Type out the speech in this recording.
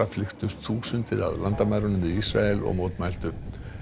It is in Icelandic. flykktust þúsundir að landamærunum við Ísrael og mótmæltu